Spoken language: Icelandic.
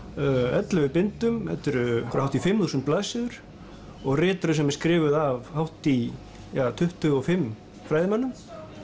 ellefu bindum og þetta eru hátt í fimm þúsund blaðsíður og ritröð sem er skrifuð af hátt í tuttugu og fimm fræðimönnum